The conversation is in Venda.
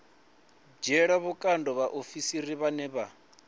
dzhiela vhukando vhaofisiri vhane vha